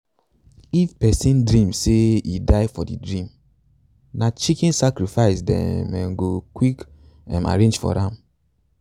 if person dream say e die for the dream na chicken sacrifice dem um go quick um arrange for am.